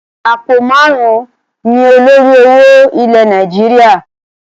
Àpò máarun ni olórí owó ilẹ̀ Nàìjíríà.